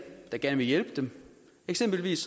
der gerne vil hjælpe dem eksempelvis